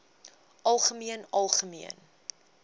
algemeen algemeen